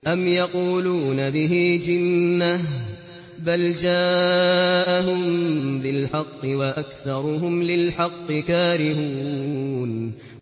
أَمْ يَقُولُونَ بِهِ جِنَّةٌ ۚ بَلْ جَاءَهُم بِالْحَقِّ وَأَكْثَرُهُمْ لِلْحَقِّ كَارِهُونَ